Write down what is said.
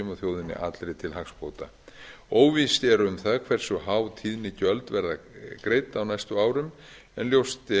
og þjóðinni allri til hagsbóta óvíst er um það hversu há tíðnigjöld verða greidd á næstu árum en